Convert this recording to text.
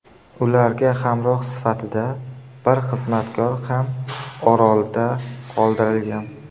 Ularga hamroh sifatida bir xizmatkor ham orolda qoldirilgan.